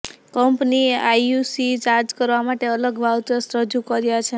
કંપનીએ IUC charge કરવા માટે અલગ વાઉચર્સ રજૂ કર્યા છે